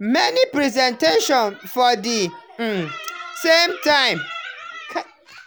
many presentation for the um same time. um